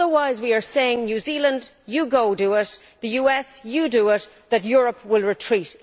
Otherwise we are saying, New Zealand you go do it', the US, you do it', and that Europe will retreat.